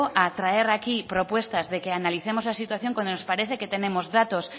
a traer aquí propuestas de que analicemos la situación cuando nos parece que tenemos datos